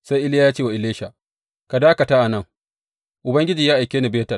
Sai Iliya ya ce wa Elisha, Ka dakata a nan; Ubangiji ya aike ni Betel.